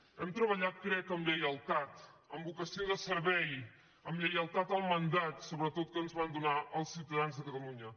hem treballat crec amb lleialtat amb vocació de servei amb lleialtat al mandat sobretot que ens van donar els ciutadans de catalunya